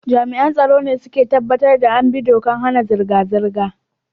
Jami'an tsaro ne su ka tabbatar da an bi dokar hana zirga-zirga.